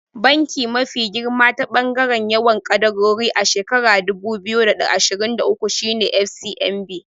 Banki mafi girma ta ɓangaren yawan kadarori a shekarar dubu biyu da ashirin da uku shine FCMB.